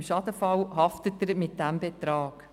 Im Schadensfall haftet er zu diesem Anteil.